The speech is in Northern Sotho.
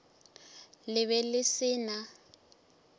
le be le se na